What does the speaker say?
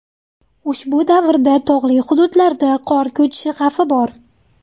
Ushbu davrda tog‘li hududlarda qor ko‘chishi xavfi bor.